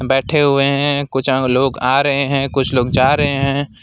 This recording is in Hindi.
बैठे हुए हैं कुछ लोग आ रहे हैं कुछ लोग जा रहे हैं।